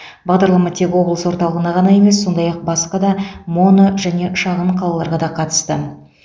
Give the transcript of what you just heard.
бағдарлама тек облыс орталығына ғана емес сондай ақ басқа да моно және шағын қалаларға да қатысты